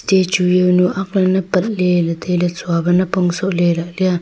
te chu zaonu aklena patley ley tailey chuava napong sohle lia.